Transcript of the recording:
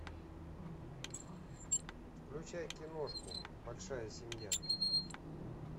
включай киношку большая семья